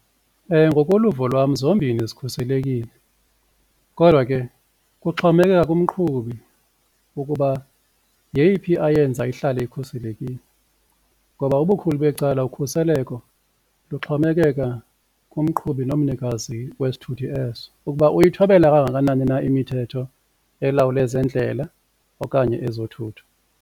Ngokoluvo lwam zombini zikhuselekile. Kodwa ke kuxhomekeka kumqhubi ukuba yeyiphi ayenza ihlale ikhuselekile ngoba ubukhulu becala ukhuseleko luxhomekeka kumqhubi nomnikazi wesithuthi eso ukuba uyithobela kangakanani na imithetho elawula ezendlela okanye ezothutho.